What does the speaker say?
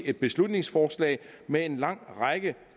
et beslutningsforslag med en lang række